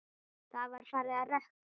Það var farið að rökkva.